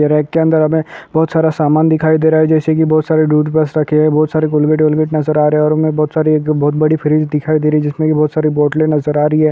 rack के अंदर हमें बहुत सारा समान दिखाई दे रहा है जैसे की बहुत सारे टूथ ब्रश रखे हुए हैं बहुत सारे कोलगेट वॉलगेट नजर आ रहे हैं और हमें बहुत बड़ी फ्रिज दिखाई दे रही है जिसमे बहुत सारे बोटलें नजर आ रही--